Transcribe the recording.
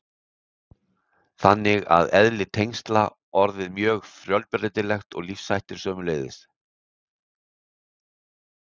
Þannig er eðli tengsla orðið mjög fjölbreytilegt og lífshættir sömuleiðis.